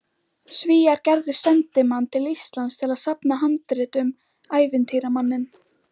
Svíar gerðu sendimann til Íslands að safna handritum, ævintýramanninn